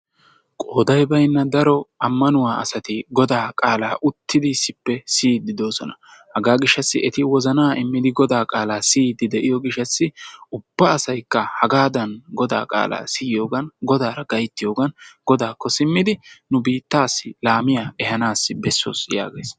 Qooday baynna ammanuwaa asati godaa qaalaa uttidi issippe siyiidddi doosona hagaa gishshassi eti wozanaa immidi eti godaa qaalaa siyiddi de'iyoo gishshassi ubba asaykka hagaadan godaa qaalaa siyoogan godaara gayttiyoogan godaakko simmidi nu biittaassi laamiyaa ehaanassi bessos yaagays.